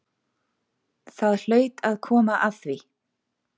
Það hlaut að koma að því!